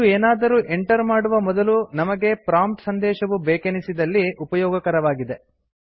ಈದು ಏನಾದರೂ ಎಂಟರ್ ಮಾಡುವ ಮೊದಲು ನಮಗೆ ಪ್ರಾಂಪ್ಟ್ ಸಂದೇಶವು ಬೇಕೆನಿಸಿದಲ್ಲಿ ಉಪಯೋಗಕರವಾಗಿದೆ